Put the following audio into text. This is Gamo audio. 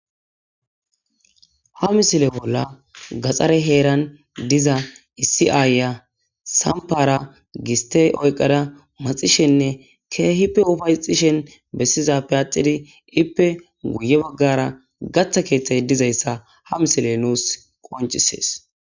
ha misile bolla gaxxare heeran diza issi aayya sampara gistey oyqada maxishenne keehippe ufayxishen bessizappe axidi ippe guye baggara gaththa keeththay dizayssa ha misile nuus qoncisees